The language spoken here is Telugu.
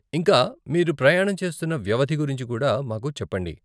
ఇంకా, మీరు ప్రయాణం చేస్తున్న వ్యవధి గురించి కూడా మాకు చెప్పండి.